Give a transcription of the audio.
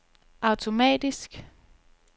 automatisk